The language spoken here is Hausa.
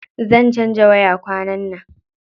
Zan canza waya kwanan nan.